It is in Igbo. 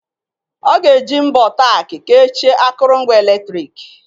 Ọ ga-eji mbọ Tack kechie akụrụngwa eletrik.